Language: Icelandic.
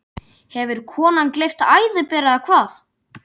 Hefur konan gleypt æðiber, eða hvað?